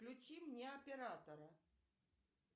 включи мне оператора